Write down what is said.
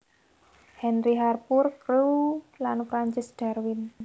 Henry Harpur Crewe lan Francis Darwin